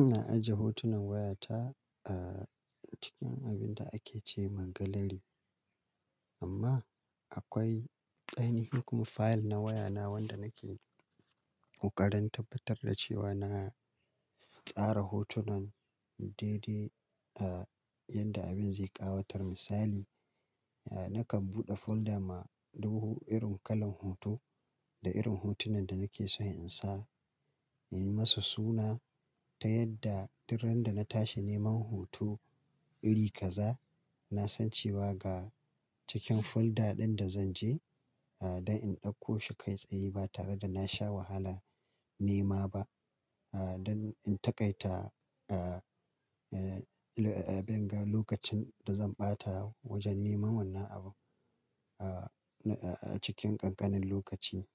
Ina ajiye hotunan wayata acikin abinda ake ce mangalari. Amma akwai ainihin kuma fayil na wayana wanda nake ƙoƙarin tabbatar da cewa na tsara hotunan daidai yadda abin zai ƙawatar. Misali, nakan buɗe folda ma du irin kalan hoto da irin hotunan da nake so in sa, in yi masa suna ta yadda duk randa na tashi neman hoto iri kaza, na san cewa ga cikin folda ɗin da zan je, ah, don in ɗauko shi kai tsaye ba tare da na sha wahala nema ba. Ah, don in taƙaita, banga lokacin da zan ɓata wajen neman wannan abu, cikin ƙanƙanin lokaci.